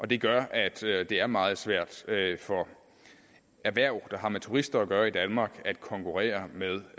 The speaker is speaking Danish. det gør at det at det er meget svært for erhverv der har med turister gøre i danmark at konkurrere med